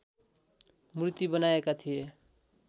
मूर्ती बनाएका थिए